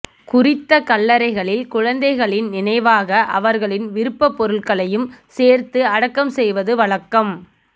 குறித்த கல்லறைகளில் குழந்தைகளின் நினைவாக அவர்களின் விருப்ப பொருட்களையும் சேர்த்து அடக்கம் செய்வது வழக்கம்